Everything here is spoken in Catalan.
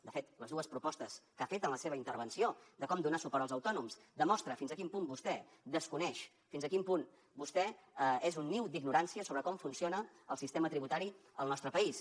de fet les dues propostes que ha fet en la seva intervenció de com donar suport als autònoms demostren fins a quin punt vostè desconeix fins a quin punt vostè és un niu d’ignorància sobre com funciona el sistema tributari al nostre país